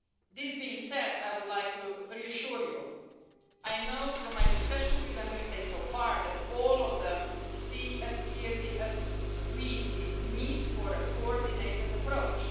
This being said, I would like to reassure you that I know from my discussions with Member States so far that all of them see as clearly as we do the need for a coordinated approach.